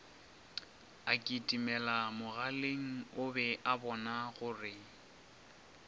akitimelamogaleng o be a bonagore